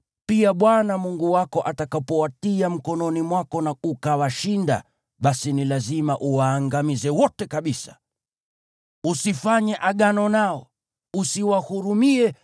pia Bwana Mungu wako atakapowatia mkononi mwako na ukawashinda, basi ni lazima uwaangamize wote kabisa. Usifanye agano nao, wala usiwahurumie.